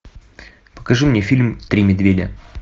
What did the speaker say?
покажи мне фильм три медведя